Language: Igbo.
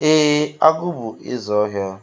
E, agụ bú ézè ọhịa.